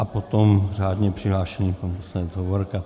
A potom řádně přihlášený pan poslanec Hovorka.